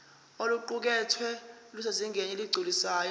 oluqukethwe lusezingeni eligculisayo